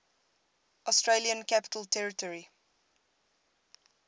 australian capital territory